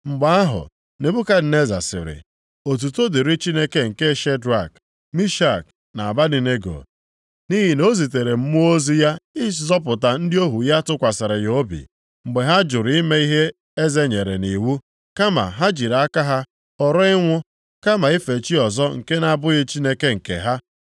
Mgbe ahụ, Nebukadneza sịrị, “Otuto dịrị Chineke nke Shedrak, Mishak na Abednego nʼihi na o zitere mmụọ ozi ya ịzọpụta ndị ohu ya tụkwasịrị ya obi, mgbe ha jụrụ ime ihe eze nyere nʼiwu, kama ha jiri aka ha họrọ ịnwụ, kama ife chi ọzọ nke na-abụghị Chineke nke ha.